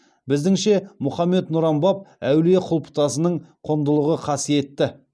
біздіңше мұхаммед нұран баб әулие құлпытасының құндылығы қасиетті